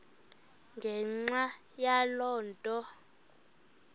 ngenxa yaloo nto